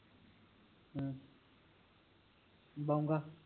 ਬੌਗਾ